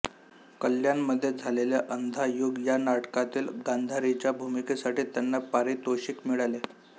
कल्याणमध्ये झालेल्या अंधायुग या नाटकातील गांधारीच्या भूमिकेसाठी त्यांना पारितोषिक मिळाले